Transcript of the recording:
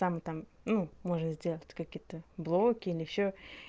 там там ну можно сделать вот какие-то блоки или ещё